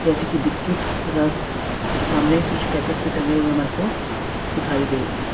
जैसे की बिस्किट रस और सामने कुछ पैकेट भी टंगे हुए है मेरेको दिखाई दे रहे है।